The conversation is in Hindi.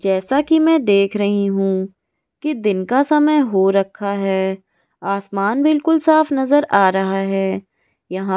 जैसा कि मैं देख रही हूं कि दिन का समय हो रखा है आसमान बिल्कुल साफ नजर आ रहा है यहां --